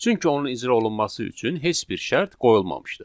Çünki onun icra olunması üçün heç bir şərt qoyulmamışdı.